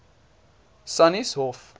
sannieshof